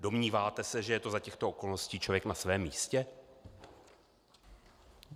Domníváte se, že je to za těchto okolností člověk na svém místě?